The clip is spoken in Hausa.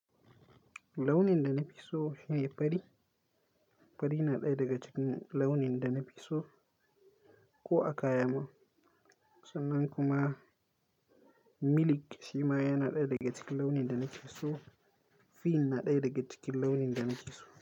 Launin da na fi so shine fari. Fari na ɗaya daga cikin launin da na fi so, ko a kaya ma sannan kuma, miliki shima yana ɗaya daga cikin launin da nake so. Fin na ɗaya daga cikin launin da nake so.